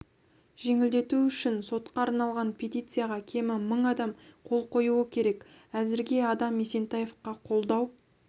жеңілдету үшін сотқа арналған петицияға кемі мың адам қол қоюы керек әзірге адам есентаевқа қолдау